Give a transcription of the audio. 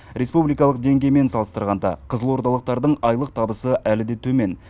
республикалық деңгеймен салыстырғанда қызылордалықтардың айлық табысы әлі де төмен